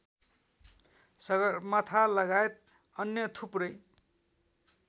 सगरमाथालगायत अन्य थुप्रै